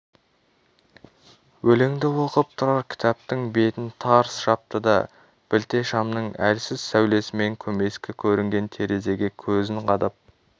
өлеңді оқып болып тұрар кітаптың бетін тарс жапты да білте шамның әлсіз сәулесімен көмескі көрінген терезеге көзін қадап